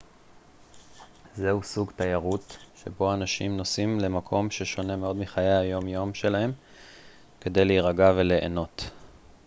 זהו סוג תיירות שבו אנשים נוסעים למקום ששונה מאוד מחיי היומיום שלהם כדי להירגע וליהנות